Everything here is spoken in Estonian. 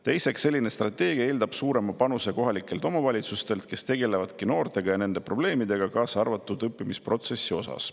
Teiseks, selline strateegia eeldab suuremat panust kohalikelt omavalitsustelt, kes tegelevad noortega ja nende probleemidega, kaasa arvatud õppimisprotsessis.